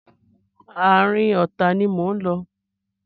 Àárín ọ̀tá ni mò ń lọ.